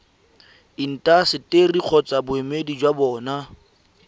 intaseteri kgotsa boemedi jwa bona